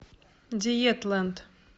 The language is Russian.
диетлэнд